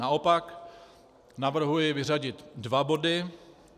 Naopak navrhuji vyřadit dva body.